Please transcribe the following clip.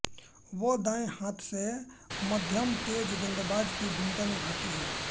वह दाएं हाथ से मध्यमतेज गेंदबाज की भूमिका निभाती हैं